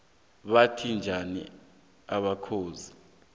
botha njani amakhoxi na